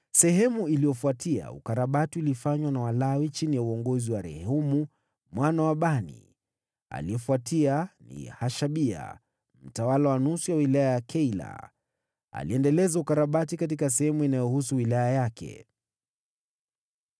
Baada yake, ukarabati ulifanywa na Walawi chini ya uongozi wa Rehumu mwana wa Bani. Aliyefuatia ni Hashabia, mtawala wa nusu ya wilaya ya Keila, aliyekarabati sehemu ya wilaya yake.